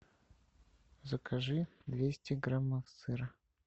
закажи двести граммов сыра